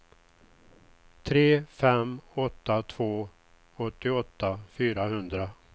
tre fem åtta två åttioåtta fyrahundra